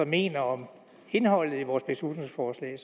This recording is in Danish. mener om indholdet i vores beslutningsforslag